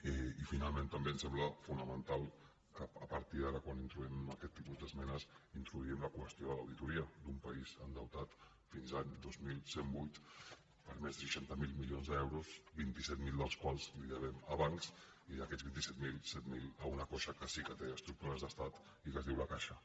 i finalment també em sembla fonamental que a partir d’ara quan introduïm aquest tipus d’esmenes introdu·ïm la qüestió de l’auditoria d’un país endeutat fins a l’any dos mil cent i vuit per més de seixanta miler milions d’euros vint set mil dels quals els devem a bancs i d’aquests vint set mil set mil a una caixa que sí que té estructures d’estat i que es diu la caixa